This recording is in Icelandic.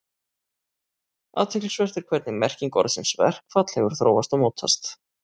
Athyglisvert er hvernig merking orðsins verkfall hefur þróast og mótast.